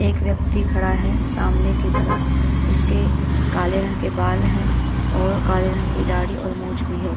एक व्यक्ति खड़ा है सामने की तरफ इसके काले रंग के बाल हैं और काले रंग की दाढ़ी और मूछ भी है।